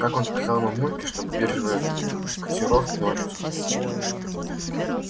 как он сказал мамульке чтобы биржевые котировки ночью смотреть